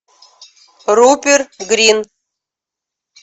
руперт гринт